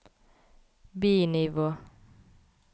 bi-nivå